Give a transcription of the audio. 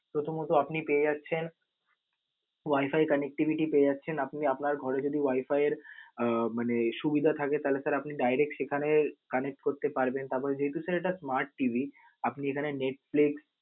প্রথমত আপনি ইতিমধ্যে পেয়ে যাচ্ছেন, wi-fi connectivity পেয়ে যাচ্ছেন, আপনি আপনি আপনার ঘরে যদি wi-fi এর আহ মানে সুবিধা থাকে, তাহলে sir আপনি direct সেখানে connect করতে পারবেন. তারপর যেহেতু sir এটা smart TV আপনি এখানে Netflix